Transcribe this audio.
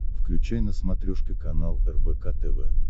включай на смотрешке канал рбк тв